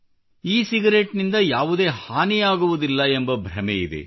E cigarette ನಿಂದ ಯಾವುದೇ ಹಾನಿಯಾಗುವುದಿಲ್ಲ ಎಂಬ ಭ್ರಮೆಯಿದೆ